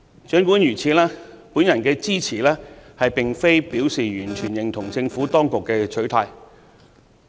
儘管如此，我的支持並非表示完全認同政府當局的取態。